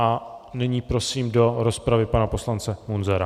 A nyní prosím do rozpravy pana poslance Munzara.